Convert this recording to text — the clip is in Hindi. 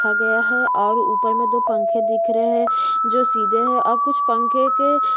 रखा गया है और ऊपर में कुछ पंखे है जो सीधा है और कुछ पंखे--